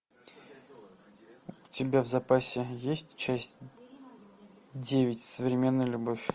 у тебя в запасе есть часть девять современная любовь